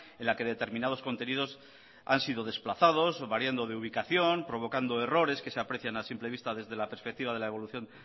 en la que determinados contenidos han sido desplazados variando de ubicación provocando errores que se aprecian a simple vista desde la perspectiva de la evolución